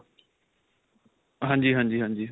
ਹਾਂਜੀ, ਹਾਂਜੀ, ਹਾਂਜੀ.